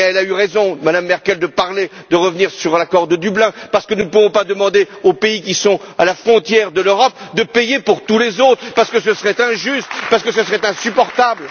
Mme Merkel a eu raison de revenir sur l'accord de Dublin parce que nous ne pouvons pas demander aux pays qui sont à la frontière de l'Europe de payer pour tous les autres, parce que ce serait injuste et parce que ce serait insupportable.